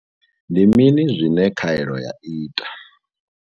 Ndi mini zwine khaelo ya ita?